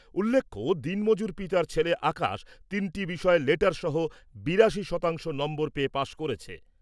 উল্লেখ্য, দিনমজুর পিতার ছেলে আকাশ তিনটি বিষয়ে লেটার সহ বিরাশি শতাংশ নম্বর পেয়ে পাশ করেছে।